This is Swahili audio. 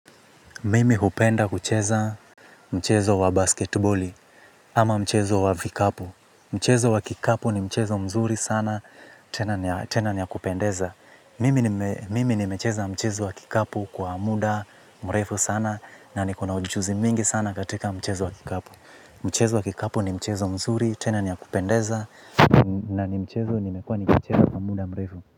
Mimi huoenda kucheza mchezo wa basketiboli ama mchezo wa vikapu. Mchezo wa kikapu ni mchezo mzuri sana tena ni ya kupendeza. Mimi nimecheza mchezo wa kikapu kwa muda mrefu sana na niko na ujuzi mingi sana katika mchezo wa kikapu. Mchezo wa kikapu ni mchezo mzuri tena ni ya kupendeza na ni mchezo nimekua nikicheza kwa muda mrefu.